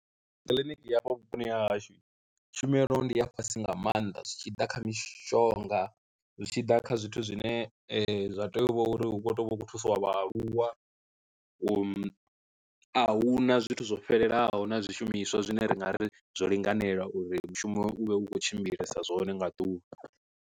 Kiḽiniki hafha vhuponi ha hashu tshumelo ndi a fhasi nga maanḓa zwi tshi ḓa kha mishonga, zwi tshi ḓa kha zwithu zwine zwa tea u vha uri hu kho tea u vha u khou thusiwa vhaaluwa a hu na zwithu zwo fhelelaho na zwishumiswa zwine ra nga ri zwo linganela uri mushumo u vhe u khou tshimbilesa zwone nga ḓuvha.